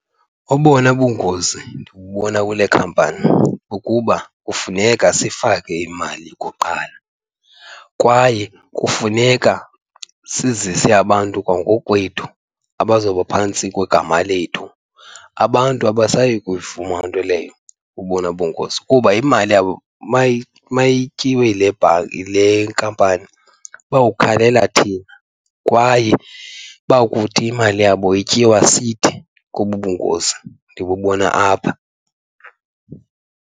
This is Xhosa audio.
Obona bungozi ndibubona kule khampani kukuba kufuneka sifake imali kuqala kwaye kufuneka sizise abantu kwangokwethu abazoba phantsi kwegama lethu. Abantu abasayi kuyivuma loo nto leyo, obona bungozi, kuba imali yabo mayityiwe yile nkampani bawukhalela thina kwaye bakuthi imali yabo ityiwa sithi kobu bungozi ndibubona apha.